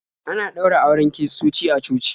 Ana ɗaura auren kiristoci a coci.